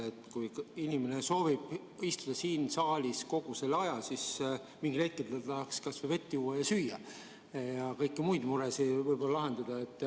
Sest kui inimene soovib istuda siin saalis kogu selle aja, siis mingil hetkel ta tahaks kas või vett juua ja süüa ning kõiki muid muresid lahendada.